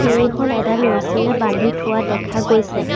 এইখন এডাল ৰছীৰে বান্ধি থোৱা দেখা গৈছে।